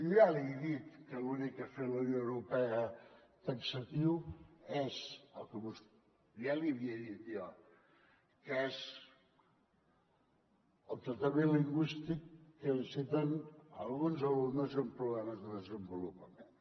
jo ja li he dit que l’únic que ha fet la unió europea taxatiu és el que ja li havia dit jo que és el tractament lingüístic que necessiten alguns alumnes amb problemes de desenvolupament